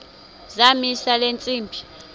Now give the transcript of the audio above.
zamisa le ntsimbi